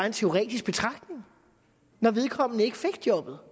en teoretisk betragtning når vedkommende ikke får jobbet